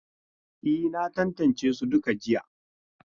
E, na tantance su duka jiya.